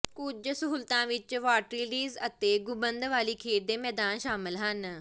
ਕੁੱਝ ਸਹੂਲਤਾਂ ਵਿੱਚ ਵਾਟਰਲਾਈਡਸ ਅਤੇ ਗੁੰਬਦ ਵਾਲੀ ਖੇਡ ਦੇ ਮੈਦਾਨ ਸ਼ਾਮਲ ਹਨ